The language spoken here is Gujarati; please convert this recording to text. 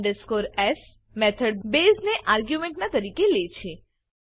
ટીઓ s મેથડ બેઝ ને આર્ગ્યુમેન્ટ ના તરીકે લેછે